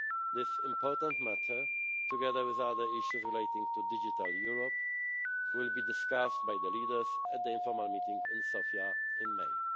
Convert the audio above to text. This important matter, together with other issues relating to Digital Europe, will be discussed by the leaders at the informal meeting in Sofia